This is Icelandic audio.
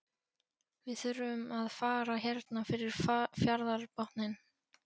Við þurfum að fara hérna fyrir fjarðarbotninn.